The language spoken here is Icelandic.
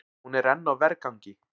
Hún er enn á vergangi.